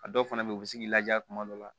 A dɔw fana bɛ yen u bɛ se k'i laja kuma dɔ la